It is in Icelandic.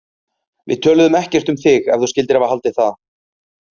Við töluðum ekkert um þig, ef þú skyldir hafa haldið það.